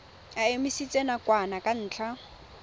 e emisitswe nakwana ka ntlha